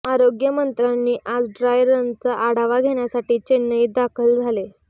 आरोग्यमंत्र्यांनी आज ड्राय रनचा आढावा घेण्यासाठी चेन्नईत दाखल झाले